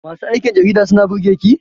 Masu aikin jarida suna burge ki?